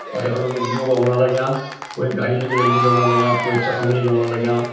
और यखण मा कुछ लोग औण लग्यां क्वे घड़ी निकललि लिजौण लग्यां क्वे चस्मा लिजोण लग्यां।